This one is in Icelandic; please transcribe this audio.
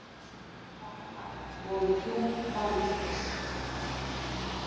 Þar af voru þrjú banaslys